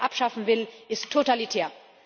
Wer Bargeld abschaffen will, ist totalitär.